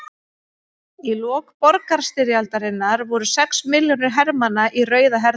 Í lok borgarastyrjaldarinnar voru sex milljónir hermanna í Rauða hernum.